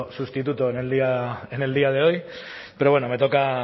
sustituto en el día de hoy pero bueno me toca